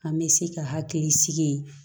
An bɛ se ka hakili sigi